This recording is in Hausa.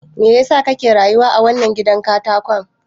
Me yasa kake rayuwa a wannan gidan katakon?